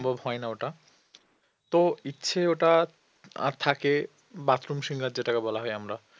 সম্ভব হয় না ওটা তো ইচ্ছে ওটা আর থাকে bathroom singer যেটাকে বলা হয় আমরা